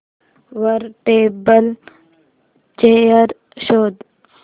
वर table chair शोध